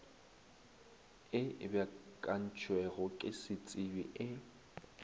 e beakantšwego ke setsebi e